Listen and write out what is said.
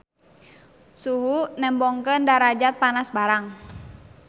Suhu nembongkeun darajat panas barang.